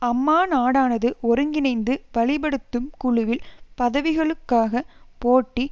அம்மாநாடானது ஒருங்கிணைந்து வழிப்படுத்தும் குழுவில் பதவிகளுக்காக போட்டி